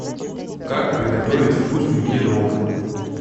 как приготовить вкусный пирог